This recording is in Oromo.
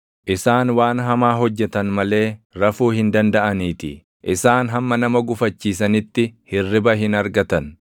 Isaan waan hamaa hojjetan malee rafuu hin dandaʼaniitii; isaan hamma nama gufachiisanitti hirriba hin argatan.